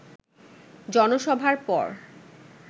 জনসভার পর